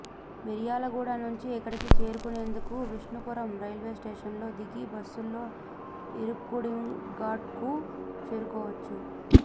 మిర్యాలగూడ నుంచి ఇక్కడికి చేరుకునేందుకు విష్ణుపురం రెల్వేస్టేషన్లో దిగి బస్సుల్లో ఇర్కిగూడెంఘాట్కు చేరుకోవచ్చు